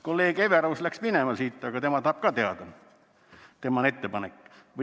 " Kolleeg Everaus läks praegu siit minema, aga tema tahab ka seda teada, see on ka tema ettepanek.